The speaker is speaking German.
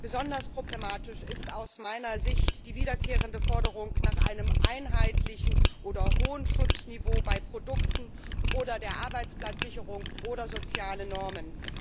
Besonders problematisch ist aus meiner Sicht die wiederkehrende Forderung nach einem einheitlichen oder hohen Schutzniveau bei Produkten oder der Arbeitsplatzsicherung oder sozialen Normen.